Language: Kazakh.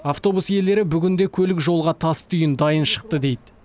автобус иелері бүгін де көлік жолға тас түйін дайын шықты дейді